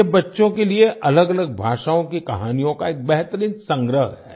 यह बच्चों के लिए अलगअलग भाषाओं की कहानियों का एक बेहतरीन संग्रह है